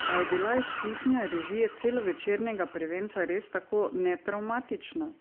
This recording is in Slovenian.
Pa je bila izkušnja režije celovečernega prvenca res tako netravmatična?